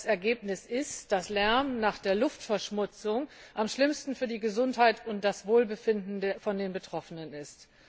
Das Ergebnis ist, dass Lärm nach der Luftverschmutzung am schlimmsten für die Gesundheit und das Wohlbefinden der Betroffenen ist.